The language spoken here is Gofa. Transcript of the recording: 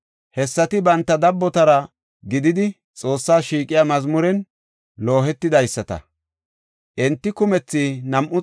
Hessati banta dabbotara gididi Xoossas shiiqiya mazmuren loohidaysata; enti kumethi 288.